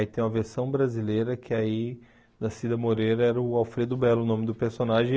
Aí tem uma versão brasileira que aí, da Cida Moreira, era o Alfredo Belo o nome do personagem.